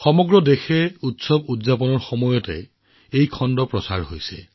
সমগ্ৰ দেশতে উৎসৱমুখৰ পৰিৱেশ বিৰাজ কৰি থকাৰ সময়ত এই খণ্ডটো সম্প্ৰচাৰ কৰা হৈছে